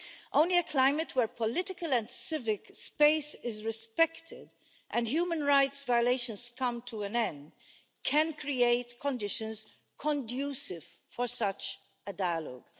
Only a climate where political and civic space is respected and human rights violations come to an end can create conditions conducive for such a dialogue.